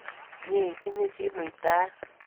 Mye itinye chi muitaet